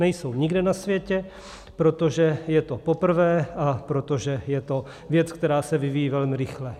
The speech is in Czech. Nejsou nikde na světě, protože je to poprvé a protože je to věc, která se vyvíjí velmi rychle.